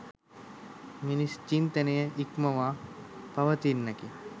මිනිස් චින්තනය ඉක්මවා පවතින්නකි